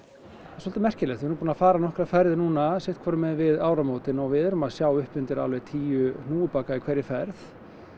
svolítið merkilegt við erum búin að fara nokkrar ferðir núna sitthvorum megin við áramótin og við erum að sjá upp undir alveg tíu hnúfubaka í hverri ferð